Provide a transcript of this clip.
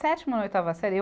Sétima ou oitava série eu